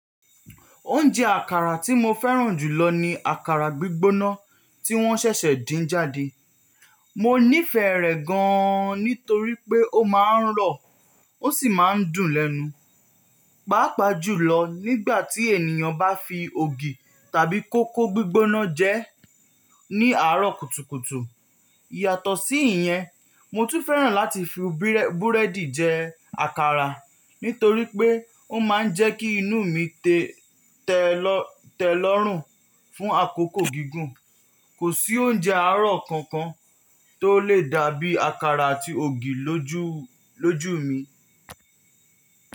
Oúnjẹ àkàrà tí mo fẹ́ràn jù lọ ni àkàrà gbígbóná tí wọ́n ṣẹ̀ṣẹ̀ din jáde. Mo nífẹ̀ẹ́ rẹ̀ gan-an nítorí pé ó máa ń rọ̀ ó sì máa ń dùn lẹ́nu, pàápàá jùlọ nígbà tí ènìyàn bá fi ògì tàbí kókó gbígbóná jẹ́ ẹ́ ní àárọ̀ kùtùkùtù. Yàtọ̀ sí ìyẹn, mo tún fẹ́ràn láti fi búrẹ́dì jẹ àkàrà nítorí pé ó máa ń jẹ́ kí inú mi tẹ́ lọ́rùn fún àkókò gígùn. Kò sí oúnjẹ àárọ̀ kankan tó lè dàbí àkàrà àti ògì lójú mi.